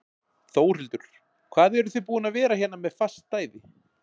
Þórhildur: Hvað eruð þið búin að vera hérna með fast stæði?